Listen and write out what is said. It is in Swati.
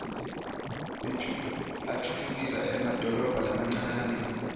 atfutfukisa emadolobha lamancane